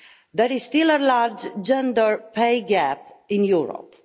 There is still a large gender pay gap in Europe.